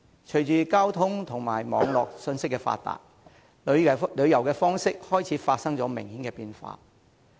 隨着交通和網絡信息發達，旅遊的方式開始發生明顯的變化。